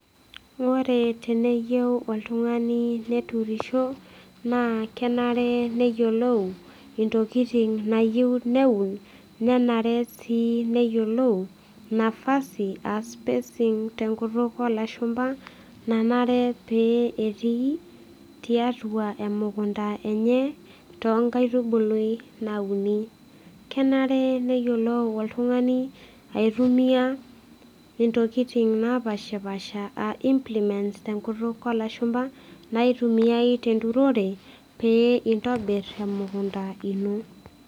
Ore teneyieu oltung'ani neturisho naa kenare neyiolou intokiting nayieu neun nenare sii neyiolou napasi aa spacing tenkutuk olashumpa nanare pee etii tiatua emukunta enye tonkaitubului nauni kenare neyiolou oltung'ani aitumiyia intokiting napashipasha aa implements tenkutuk olashumpa naitumiae tenturore pee intobirr emukunta ino.